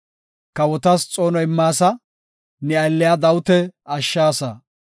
Kawotas xoono immaasa; ne aylliya Dawita ashshaasa.